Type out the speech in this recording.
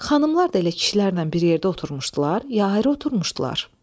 Xanımlar da elə kişilərlə bir yerdə oturmuşdular, ya ayrı oturmuşdular?